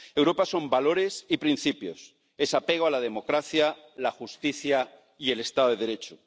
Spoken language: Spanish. Europa son valores y principios, es apego a la democracia, la justicia y el Estado de Derecho.